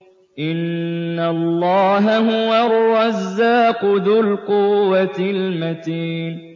إِنَّ اللَّهَ هُوَ الرَّزَّاقُ ذُو الْقُوَّةِ الْمَتِينُ